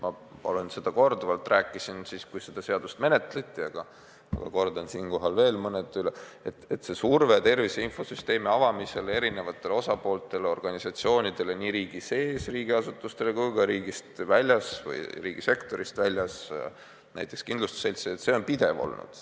Ma rääkisin seda korduvalt, kui seda seaduseelnõu menetleti, aga kordan siinkohal veel üle, et surve tervise infosüsteemi avamisele erinevatele riigiasutustele ja ka organisatsioonidele riigisektorist väljas – näiteks kindlustusseltsidele – on pidev olnud.